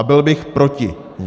A byl bych proti ní.